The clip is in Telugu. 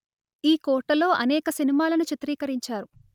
ఈకోటలో అనేక సినిమాలను చిత్రీకరించారు